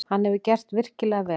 Hann hefur gert virkilega vel.